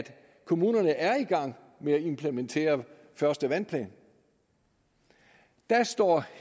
kommunerne er i gang med at implementere den første vandplan der står